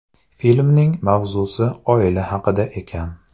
Filmning mavzusi oila haqida ekan.